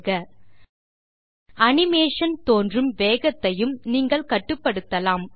ஐ தேர்க அனிமேஷன் தோன்றும் வேகத்தையும் நீங்கள் கட்டுப்படுத்தலாம்